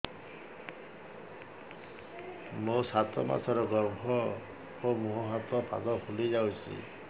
ମୋ ସାତ ମାସର ଗର୍ଭ ମୋ ମୁହଁ ହାତ ପାଦ ଫୁଲି ଯାଉଛି